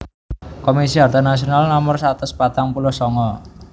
Komisi Harta Nasional Nomor satus patang puluh sanga